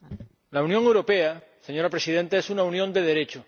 La Unión Europea, señora Presidenta, es una unión de Derecho.